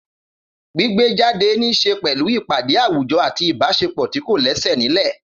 Gbígbé jáde ní í ṣe pẹ̀lú ìpàdé àwùjọ àti ìbáṣepọ̀ tí kò lẹ́sẹ̀ nílẹ̀.